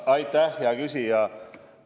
Aitäh, hea küsija!